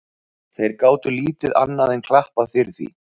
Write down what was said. Þeir gátu lítið annað enn klappað fyrir því.